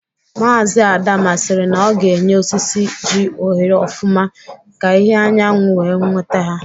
Mazị Adama siri na ọ ga-enye osisi ji ohere ọfụma ka ìhè anyanwụ wee nweta ha